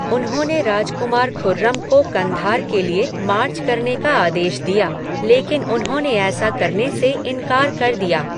उन्होंने राजकुमार खुर्रम को कँधार के लिए मार्च करने का आदेश दिया, लेकिन उन्होंने ऐसा करने से इनकार कर दिया।